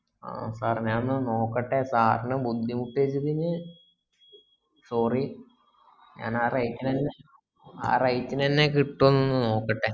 ആഹ് sir ഞാനൊന്ന് നോക്കട്ടെ sir നെ ബുദ്ധിമുട്ടിച്ചതിന് sorry ഞാൻ ആ rate നന്നെ ആ rate നന്നെ കിട്ട്വോന് നോക്കട്ടെ